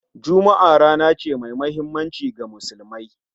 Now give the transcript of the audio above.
Juma'a rana ce mai muhimmanci ga Musulmai